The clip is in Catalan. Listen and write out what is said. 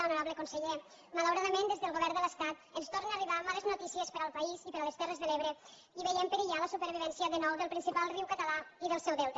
honorable conseller malauradament des del govern de l’estat ens tornen a arribar males notícies per al país i per a les terres de l’ebre i veiem perillar la supervivència de nou del principal riu català i del seu delta